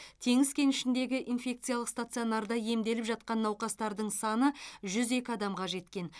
теңіз кенішіндегі инфекциялық стационарда емделіп жатқан науқастардың саны жүз екі адамға жеткен